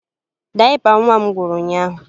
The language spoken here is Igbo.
Dayịpa nwa m gwụrụ ụnyaahụ